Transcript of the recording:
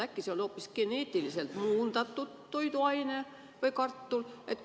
Äkki see on hoopis geneetiliselt muundatud kartul või mõni muu toiduaine?